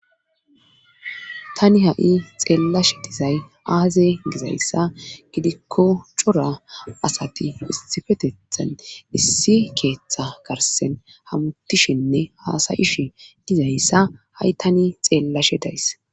Tani ha'i xeellashe dizay aaze gizayssa gidikko cora asati isifetethan issi keeththa garsen hamuttishinne haasayish dizayssa ha'i tani xeellashe days